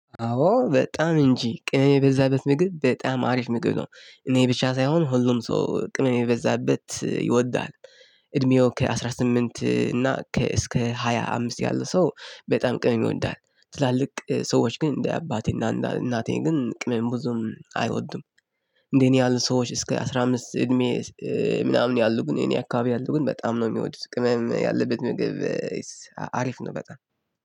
አዎ በጣም እንጂ ቅመም የበዛበት ምግብ በጣም አሪፍ ምግብ ነው እኔ ብቻ ሳይሆን ሁሉም ሰው ቅመም የበዛበት ይወዳል። እድሜው ከአስራ ስምንት እና ከ እስከ ሃያ አምስት ያለ ሰው በጣም ቅምም ይወዳል። ትላልቅ ሰዎች ግን እንደ አባቴና እናቴ ግን ቅምም ብዙም አይወዱም። እንደኔ ያሉ ሰዎች እስከ አስራ አምስት እድሜ ምናምን ያሉ ግን እኔ አካባቢ ያሉ ግን በጣም ነው የሚወዱት ቅመም ያለበት ምግብ። አሪፍ ነው በጣም